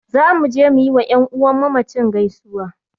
Za mu je mu yi wa ƴan'uwan mamacin gaisuwa